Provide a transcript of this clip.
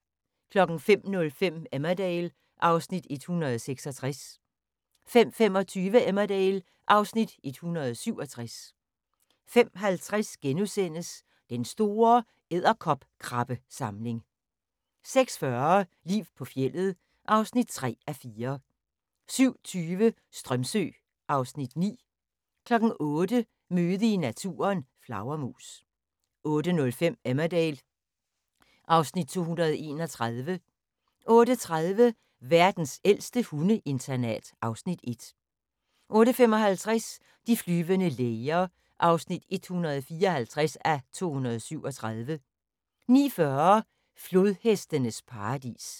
05:05: Emmerdale (Afs. 166) 05:25: Emmerdale (Afs. 167) 05:50: Den store edderkopkrabbesamling * 06:40: Liv på fjeldet (3:4) 07:20: Strömsö (Afs. 9) 08:00: Møde i naturen: Flagermus 08:05: Emmerdale (Afs. 231) 08:30: Verdens ældste hundeinternat (Afs. 1) 08:55: De flyvende læger (154:237) 09:40: Flodhestenes paradis